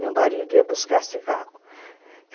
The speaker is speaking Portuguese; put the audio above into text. Meu marido ia buscar cigarro.